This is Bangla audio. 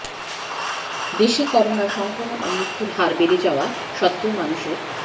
দেশে করোনা সংক্রমণ ও মৃত্যুর হার বেড়ে যাওয়া সত্ত্বেও মানুষের